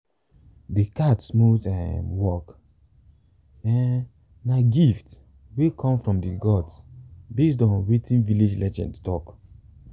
de cat smooth um walk um na gift wey come from de gods base on wetin village legends talk